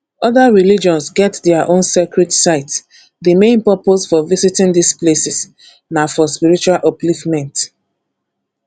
oda religions get their own sacred sites di main purpose for visiting these places na for spiritual upliftment